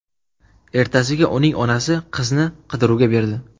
Ertasiga uning onasi qizni qidiruvga berdi.